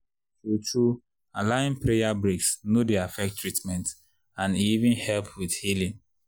true-true allowin’ prayer breaks no dey affect treatment and e even help wit healin’.